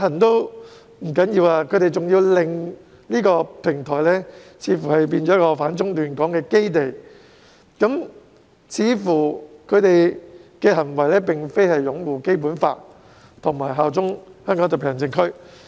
除此之外，他們似乎甚至想令這平台成為反中亂港的基地，其行為似乎無法反映出他們擁護《基本法》及效忠香港特區。